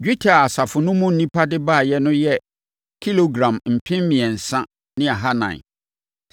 Dwetɛ a asafo no mu nnipa no de baeɛ yɛ kilogram mpem mmiɛnsa ne ahanan (3,400).